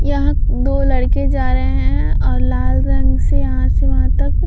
यहाँ दो लड़के जा रहे हैं और लाल रंग से यहाँ से वहाँ तक --